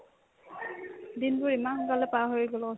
দিনবোৰ ইমান সোনকালে পাৰ হৈ গ'ল অ'